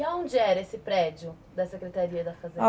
E onde era esse prédio da Secretaria da Fazenda?